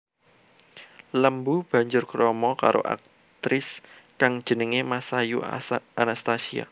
Lembu banjur krama karo aktris kang jenengé Masayu Anastasia